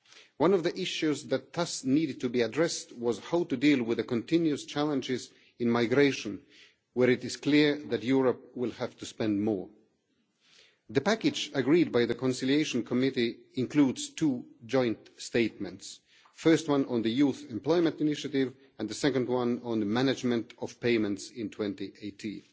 One of the issues that thus needed to be addressed was how to deal with the continuous challenges in migration, where it is clear that Europe will have to spend more. The package agreed by the Conciliation Committee includes two joint statements the first one on the Youth Employment Initiative and the second one on the management of payments in 2018.